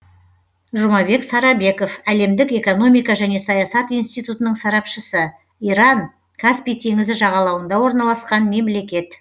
жұмабек сарабеков әлемдік экономика және саясат институтының сарапшысы иран каспий теңізі жағалауында орналасқан мемлекет